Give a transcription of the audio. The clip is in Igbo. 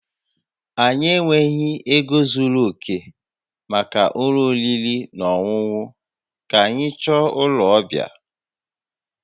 Anyị enweghị ego zuru oke maka ụlọ oriri na ọṅụṅụ, ka anyị chọta ụlọ ọbịa